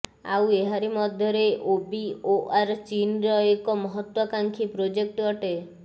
ଆଉ ଏହାରି ମଧ୍ୟରେ ଓବିଓଆର ଚୀନର ଏକ ମହତ୍ତ୍ୱାକାଂକ୍ଷୀ ପ୍ରୋଜେକ୍ଟ ଅଟେ